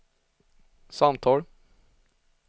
samtal